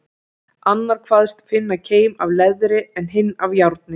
Annar kvaðst finna keim af leðri, en hinn af járni.